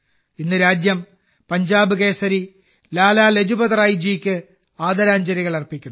ഇന്ന് രാജ്യം പഞ്ചാബ് കേസരി ലാലാ ലജ്പത് റായ് ജിക്ക് ആദരാഞ്ജലികൾ അർപ്പിക്കുന്നു